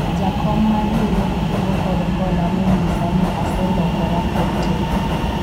jakom mar riwruog kungo kod hola ne onyisa ni aselokora kuom tim